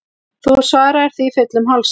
Þú svaraðir því fullum hálsi.